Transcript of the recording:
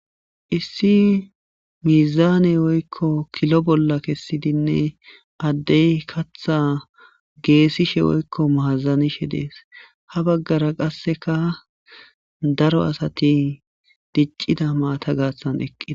Issi miizaane woykko kilo bolla kessidinne addey katha geesishe woykko maazanishe dees ha baggara qasseka daro asati diccida maata gaassan eqqi..